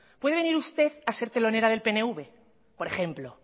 puede venir usted a ser telonera de pnv por ejemplo